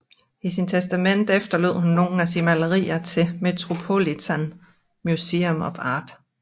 I sit testamente efterlod hun nogle af sine malerier til Metropolitan Museum of Art